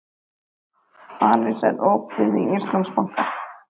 Aris, er opið í Íslandsbanka?